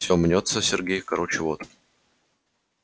всё мнётся сергей короче вот